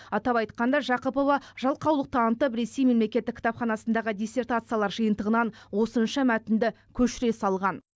атап айтқанда жақыпова жалқаулық танытып ресей мемлекеттік кітапханасындағы диссертациялар жиынтығынан осынша мәтінді көшіре салған